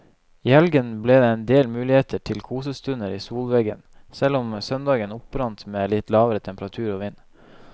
I helgen ble det en del muligheter til kosestunder i solveggen, selv om søndagen opprant med litt lavere temperatur og vind.